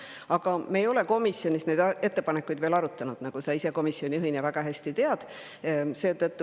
Aga me ei ole komisjonis neid ettepanekuid veel arutanud, nagu sa ise komisjoni juhina väga hästi tead.